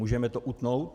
Můžeme to utnout?